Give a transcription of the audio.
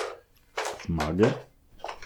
Zmage?